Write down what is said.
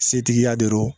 Setigiya de don